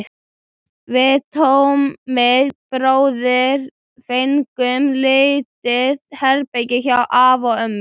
Við Tommi bróðir fengum lítið herbergi hjá afa og ömmu.